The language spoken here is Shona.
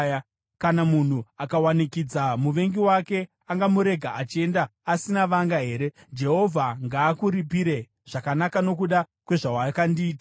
Kana munhu akawanikidza muvengi wake angamurega achienda asina vanga here? Jehovha ngaakuripire zvakanaka nokuda kwezvawakandiitira.